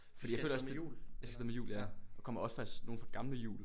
Fordi jeg føler også det jeg skal af sted med hjul ja og kommer faktisk også nogle fra gamle hjul